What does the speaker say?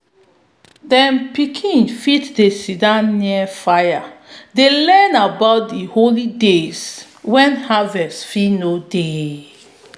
them pikin be dey sit near fire dey learn about di holy days wen harvest no fit dey.